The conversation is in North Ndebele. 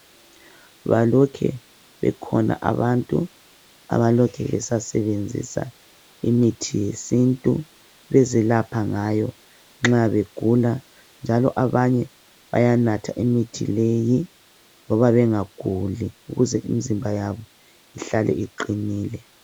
Balokhe bekhona abantu abalokhe besasebenzisa imithi yesintu bezelapha ngayo nxa begula njalo abanye bayanatha imithi leyi loba bengaguli ukuze imizimba yabo ihlale iqinile.